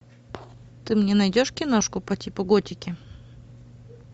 ты мне найдешь киношку по типу готики